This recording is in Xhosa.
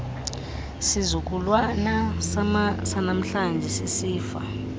sizukulwana sanamhlanje sisifa